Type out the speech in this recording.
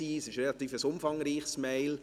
Es ist eine recht umfangreiche Mail.